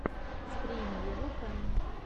стрим ева фэм